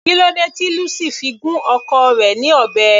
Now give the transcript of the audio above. Kílódé tí Lucy fi gún ọkọ rẹ̀ ní ọ̀bẹ.